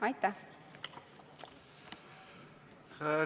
Aitäh!